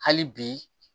Hali bi